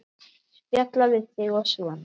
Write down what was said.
Spjalla við þig og svona.